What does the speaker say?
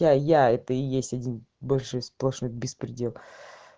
я я это и есть один большой сплошной беспредел